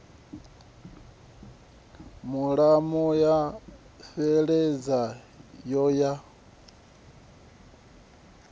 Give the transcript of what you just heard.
mulomo ya fheleledza yo ya